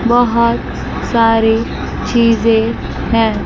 बहुत सारी चीजें हैं।